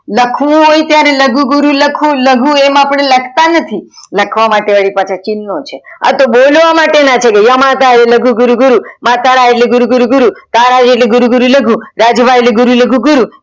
લખવું હોય ત્યારે લઘુ ગુરુ લખવું લઘુ એમ લખતા નથી લખવા માટે એ ચિન્હો છે, આતો બોવા માટેના છે યામતા એટલે લઘુ ગુરુ ગુરુ, માતા એટલે ગુરુ ગુરુ ગુરુ, તારા એટલે લઘુ ગુરુ ગુરુ, રાજભા એટલે લઘુ ગુરુ લઘુ